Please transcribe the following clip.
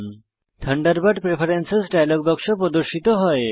Thunderbird preference dialogue বাক্স প্রদর্শিত হয়